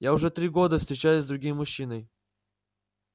я уже три года встречаюсь с другим мужчиной